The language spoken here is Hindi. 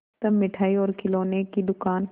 तब मिठाई और खिलौने की दुकान